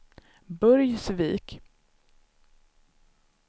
Burgsvik